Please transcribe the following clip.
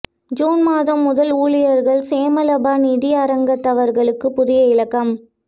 June மாதம் முதல் ஊழியர் சேமலாப நிதிய அங்கத்தவர்களுக்கு புதிய இலக்கம்